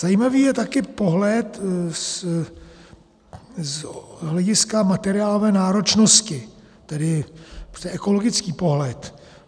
Zajímavý je také pohled z hlediska materiálové náročnosti, tedy ekologický pohled.